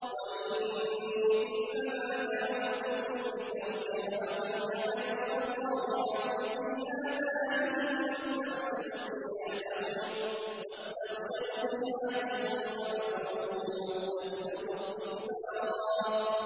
وَإِنِّي كُلَّمَا دَعَوْتُهُمْ لِتَغْفِرَ لَهُمْ جَعَلُوا أَصَابِعَهُمْ فِي آذَانِهِمْ وَاسْتَغْشَوْا ثِيَابَهُمْ وَأَصَرُّوا وَاسْتَكْبَرُوا اسْتِكْبَارًا